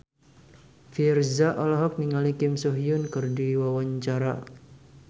Virzha olohok ningali Kim So Hyun keur diwawancara